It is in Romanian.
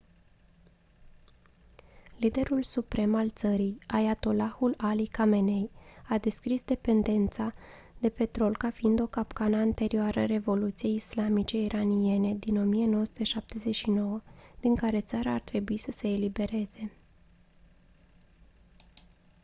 liderul suprem al țării ayatollahul ali khamenei a descris dependența de petrol ca fiind «o capcană» anterioară revoluției islamice iraniene din 1979 din care țara ar trebui să se elibereze